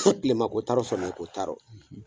Ko kilema ko t'a rɔ samiya ko t'a rɔ.